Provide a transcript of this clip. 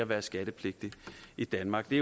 være skattepligtig i danmark det